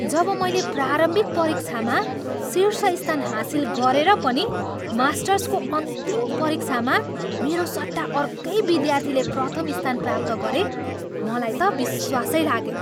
जब मैले प्रारम्भिक परीक्षामा शिर्ष स्थान हासिल गरेर पनि मास्टर्सको अन्तिम परीक्षामा मेरो सट्टा अर्कै विद्यार्थीले प्रथम स्थान प्राप्त गरे, मलाई त विश्वासै लागेन।